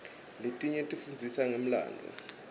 letinye tifundzisa ngemlandvo